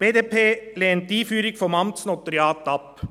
Die BDP lehnt die Einführung des Amtsnotariats ab.